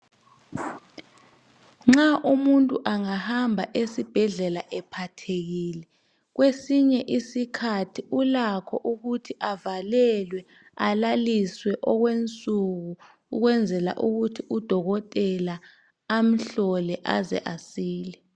nxa umuntu engahamba esibhedlela ephathekile kwesinye isikhathi ulakho ukuthi avalelwe aliswe okwensuku ukwenzela ukuthi udokotela amhlole aze asile